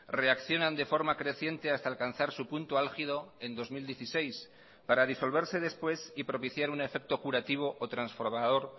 reaccionan de forma creciente hasta alcanzar su punto álgido en dos mil dieciséis para disolverse después y propiciar un efecto curativo o transformador